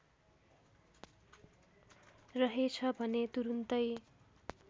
रहेछ भने तुरुन्तै